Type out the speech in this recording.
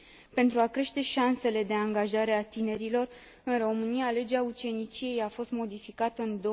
Pentru a crește șansele de angajare a tinerilor în România, legea uceniciei a fost modificată în